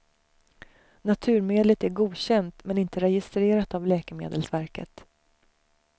Naturmedlet är godkänt men inte registrerat av läkemedelsverket.